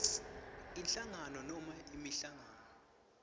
inhlangano nobe inhlangano